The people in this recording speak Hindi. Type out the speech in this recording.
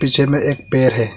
पीछे में एक पेड़ है।